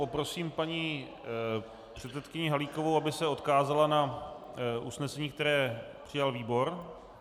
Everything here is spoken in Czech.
Poprosím paní předsedkyni Halíkovou, aby se odkázala na usnesení, které přijal výbor.